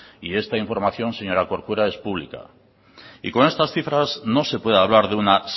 y esta información señora corcuera es pública y con estas cifras no se puede hablar de una